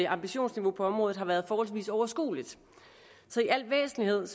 ambitionsniveau på området har været forholdsvis overskueligt så i al væsentlighed er